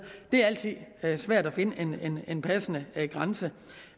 det er altid svært at finde en passende grænse